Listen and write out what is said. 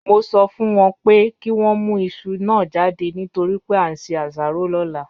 Mo sọ fún wọn pé kí wọ́n mú iṣu náà jáde nítorí pé a ń se asaro lọ́la